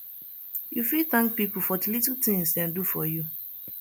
you fit thank people for di little tings dem do for you